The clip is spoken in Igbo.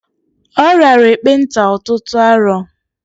Ọ riara ekpenta ọtụtụ arọ.